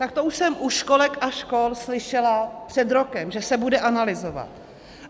Tak to už jsem u školek a škol slyšela před rokem, že se bude analyzovat.